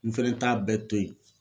N fɛnɛ t'a bɛɛ to ye.